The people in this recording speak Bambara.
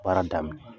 Baara daminɛ